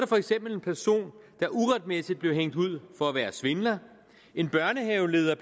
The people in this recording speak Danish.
for eksempel en person der uretmæssigt blev hængt ud for at være svindler en børnehaveleder